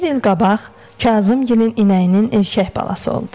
Bir il qabaq Kazımgilin inəyinin erkək balası oldu.